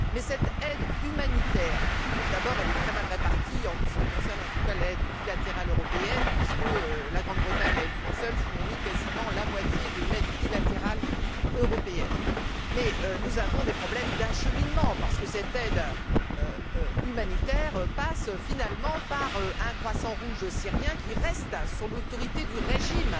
Mais cette aide humanitaire est, d'abord, très mal répartie, en ce qui concerne, en tout cas, l'aide bilatérale européenne, puisque la Grande Bretagne, à elle toute seule, fournit quasiment la moitié de l'aide bilatérale européenne. Mais nous avons des problèmes d'acheminement, parce que cette aide humanitaire passe, finalement, par un Croissant rouge syrien qui reste sous l'autorité du régime.